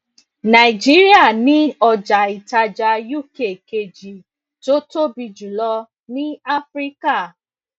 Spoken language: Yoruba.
nàìjíríà ni ọjà ìtajà uk kejì tó tóbi jùlọ ní áfíríkà